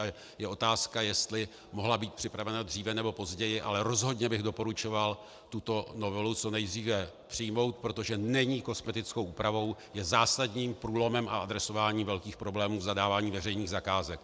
A je otázka, jestli mohla být připravena dříve, nebo později, ale rozhodně bych doporučoval tuto novelu co nejdříve přijmout, protože není kosmetickou úpravou, je zásadním průlomem v adresování velkých problémů v zadávání veřejných zakázek.